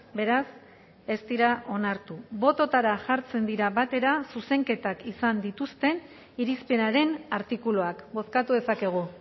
beraz ez dira onartu bototara jartzen dira batera zuzenketak izan dituzten irizpenaren artikuluak bozkatu dezakegu